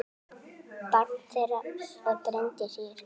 Barn þeirra er Bryndís Ýr.